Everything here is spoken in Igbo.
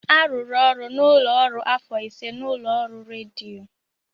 Arụrụ ọrụ n'ụlọ ọrụ afọ ise n'ụlọ ọrụ rediyo.